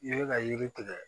I bɛ ka yiri tigɛ